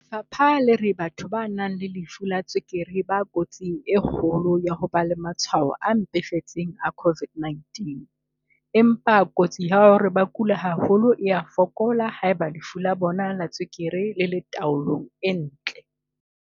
Lefapha le re batho ba nang le lefu la tswekere ba kotsing e kgolo ya ho ba le matshwao a mpefetseng a COVID-19, empa kotsi ya hore ba kule haholo e a fokola haeba lefu la bona la tswekere le le tao-long e ntle.